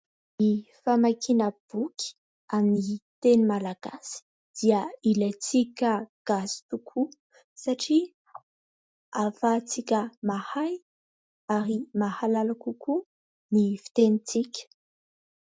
Ny famakiana boky amin'ny teny malagasy dia ilaitsika gasy tokoa satria ahafahatsika mahay ary mahalala kokoa ny fitenitsika.